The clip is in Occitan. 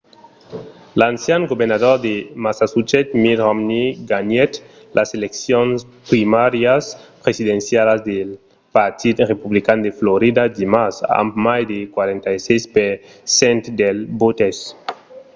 l’ancian governador de massachusetts mitt romney ganhèt las eleccions primàrias presidencialas del partit republican de florida dimars amb mai de 46 per cent dels votes